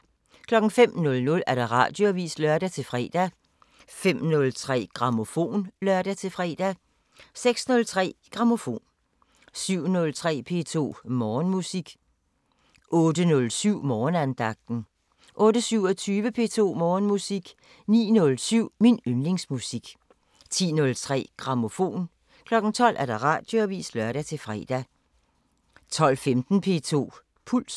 05:00: Radioavisen (lør-fre) 05:03: Grammofon (lør-fre) 06:03: Grammofon 07:03: P2 Morgenmusik 08:07: Morgenandagten 08:27: P2 Morgenmusik 09:07: Min yndlingsmusik 10:03: Grammofon 12:00: Radioavisen (lør-fre) 12:15: P2 Puls